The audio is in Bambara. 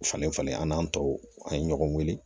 Falen falen an n'an tɔw an ye ɲɔgɔn wele